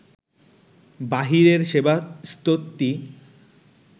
বাহিরের সেবা স্তুতি